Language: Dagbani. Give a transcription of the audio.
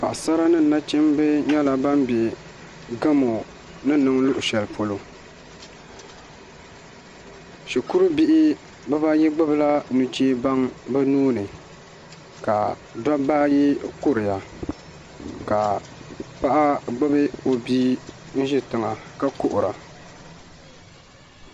Paɣasara ni nachimbi nyɛla ban bɛ gamo ni niŋ luɣu shɛli polo shikuru bihi bibayi gbubila nuchɛ baŋ bi nuuni ka dabba ayi kuriya ka paɣa gbubi o bia n ʒi tiŋa ka kuhura